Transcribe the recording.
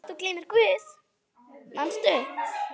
Þótt þú gleymir Guði, manstu?